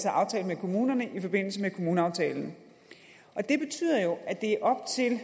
aftalt med kommunerne i forbindelse med kommuneaftalen det betyder jo at det er op til